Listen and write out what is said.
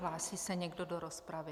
Hlásí se někdo do rozpravy?